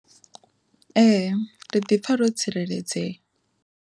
Ee ri ḓi pfha ro tsireledzea.